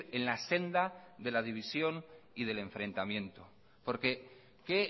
en la senda de la división y del enfrentamiento porque qué